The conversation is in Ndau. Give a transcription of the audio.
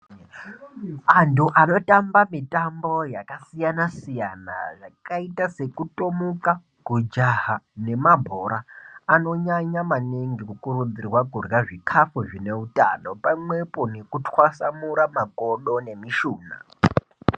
Antu anotamba mitombo yakasiyana siyana yakaita sekutomuka, kujaha nemabhora. Anonyanya maningi kukurudzirwa kudyra zvikafu zvine utano pamwepo nekutwasamura makodo nemishuna.